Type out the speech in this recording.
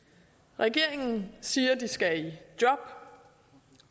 regeringen siger at de skal i job